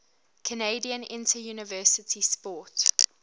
canadian interuniversity sport